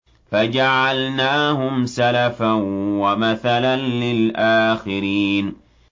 فَجَعَلْنَاهُمْ سَلَفًا وَمَثَلًا لِّلْآخِرِينَ